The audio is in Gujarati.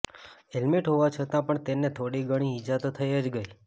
હેલમેટ હોવા છતાં પણ તેને થોડી ગણી ઈજા તો થઈ જ ગઈ